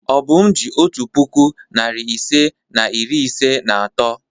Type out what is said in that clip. Obum ji otu puku, narị ise na iri ise na atọ.